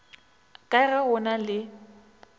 ka be go na le